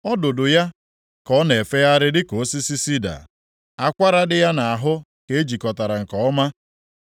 Ọdụdụ ya ka ọ na-efegharị dịka osisi sida; akwara dị ya nʼahụ ka e jikọtara nke ọma.